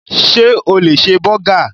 Sé o lè ṣe bọ́gà?